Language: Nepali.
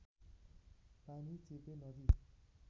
पानी चेपे नदी